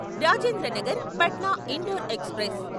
Rajendra Nagar Patna Indore express